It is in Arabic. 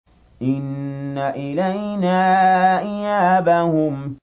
إِنَّ إِلَيْنَا إِيَابَهُمْ